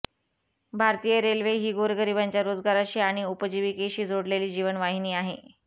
भारतीय रेल्वे ही गोरगरिबांच्या रोजगाराशी आणि उपजिवीकेशी जोडलेली जीवनवाहिनी आहे